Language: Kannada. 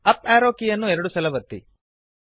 ಅಪ್ ಆರೋ ಕೀಯನ್ನು ಎರಡು ಸಲ ಒತ್ತಿರಿ